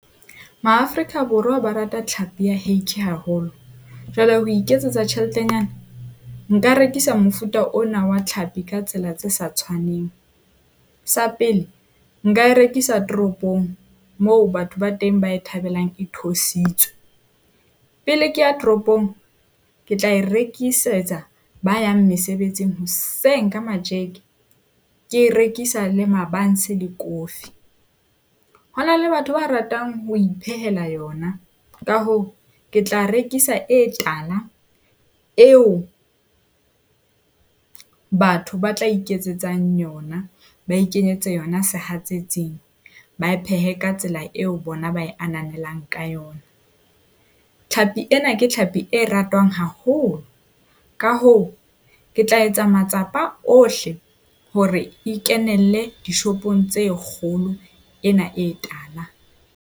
MaAfrika Borwa ba rata tlhapi ya hake haholo. Jwale ho iketsetsa tjheletenyana, nka rekisa mofuta ona wa tlhapi ka tsela tse sa tshwaneng. Sa pele, nka e rekisa toropong moo batho ba teng ba e thabelang e thusitswe . Pele ke ya tropong, ke tla e rekisetsa ba yang mesebetsing hoseng ka matjeke, ke e rekisa le mabanse le coffee. Ho na le batho ba ratang ho iphehela yona. Ka hoo, ke tla rekisa e tala eo batho ba tla iketsetsang yona, ba ikenyetsa yona sehatsetsing, ba e phehe ka tsela eo bona ba e ananelang ka yona. Tlhapi ena ke tlhapi e ratwang haholo, ka hoo ke tla etsa matsapa ohle hore e kenelle dishopong tse kgolo ena e tala.